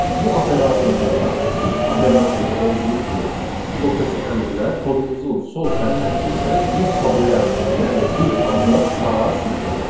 Bu operatorda da if operatorunda olduğu kimi blokdakı əmrlər kodumuzun sol sərhəddindən bir tabulsiya, yəni bir abzas sağa sürüşəcək.